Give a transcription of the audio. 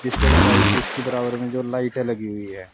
इसके लाई इसकी बराबर में जो लाइटे लगी हुई है।